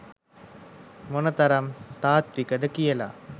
මොන තරම් තාත්විකද කියලා.